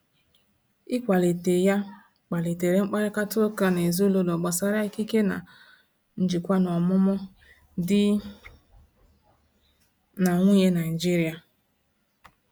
Ịkwalite ya kpalitere mkparịta ụka n’ezinụlọ gbasara ikike na njikwa n’ọmụmụ di na nwunye Naijiria.